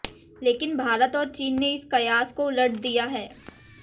लेकिन भारत और चीन ने इस कयास को उलट दिया है